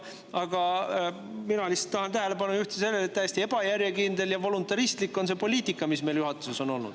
Aga mina tahan tähelepanu juhtida sellele, et täiesti ebajärjekindel ja voluntaristlik on see poliitika, mis juhatuses on olnud.